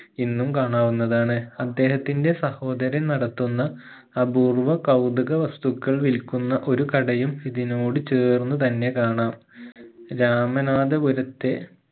ഇന്നും കാണാവുന്നതാണ് അദ്ദേഹത്തിന്റെ സഹോദരൻ നടത്തുന്ന അപൂർവ്വ കൗതുക വസ്തുക്കൾ വിൽക്കുന്ന ഒരു കടയും ഇതിനോട് ചേർന്ന് തന്നെ കാണാം രാമനാദാപുരത്തെ